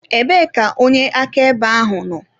Ebee ka onye akaebe ahụ nọ?